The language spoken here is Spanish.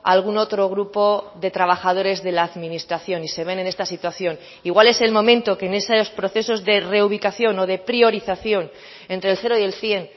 algún otro grupo de trabajadores de la administración y se ven en esta situación igual es el momento que en esos procesos de reubicación o de priorización entre el cero y el cien